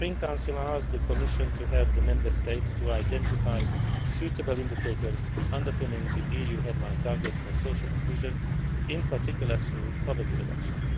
me. The Spring Council asked the Commission to help the Member States to identify suitable indicators underpinning the EU headline target for social inclusion, in particular, through poverty reduction.